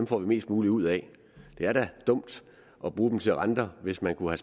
får vi mest muligt ud af det er da dumt at bruge dem til renter hvis man kunne